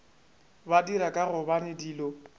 ba dira ka gobane dilo